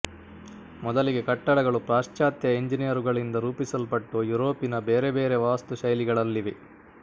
ಮೊದಲಿಗೆ ಕಟ್ಟಡಗಳು ಪಾಶ್ಚಾತ್ಯ ಎಂಜಿನಿಯರುಗಳಿಂದ ರೂಪಿಸಲ್ಪಟ್ಟು ಯುರೋಪಿನ ಬೇರೆ ಬೇರೆ ವಾಸ್ತುಶೈಲಿಗಳಲ್ಲಿವೆ